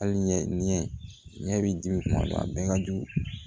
Hali ɲɛ ɲɛ bi dimi kuma a bɛɛ ka jugu